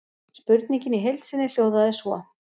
Spurningin í heild sinni hljóðaði svo: